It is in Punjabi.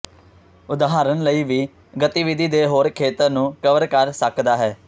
ਉਦਾਹਰਨ ਲਈ ਵੀ ਗਤੀਵਿਧੀ ਦੇ ਹੋਰ ਖੇਤਰ ਨੂੰ ਕਵਰ ਕਰ ਸਕਦਾ ਹੈ